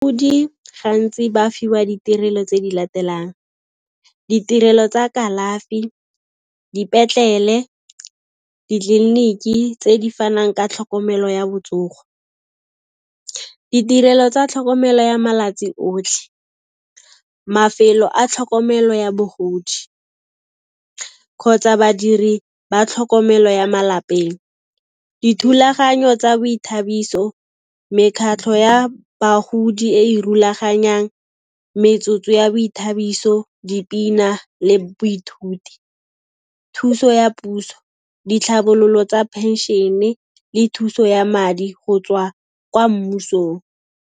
Gantsi ba fiwa ditirelo tse di latelang, ditirelo tsa kalafi, dipetlele, ditleliniki tse di fanang ka tlhokomelo ya botsogo, ditirelo tsa tlhokomelo ya malatsi otlhe, mafelo a tlhokomelo ya bogodi kgotsa badiri ba tlhokomelo ya malapeng. Dithulaganyo tsa boithabiso, mekhatlho ya bagodi e e rulaganyang metsotso ya boithabiso, dipina le boithuti, thuso ya puso, ditlhabololo tsa phenšene le thuso ya madi go tswa kwa mmusong.